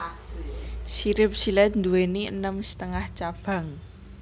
Sirip silèt nduwèni enem setengah cabang